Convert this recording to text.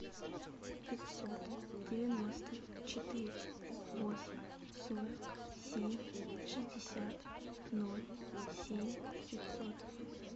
пятьсот девяносто четыре восемь сорок семь шестьдесят ноль семь пятьсот